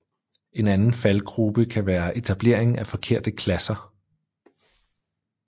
En anden faldgrube kan være etablering af forkerte klasser